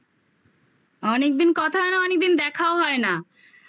অনেকদিন কথা হয় না অনেকদিন দেখাও হয় না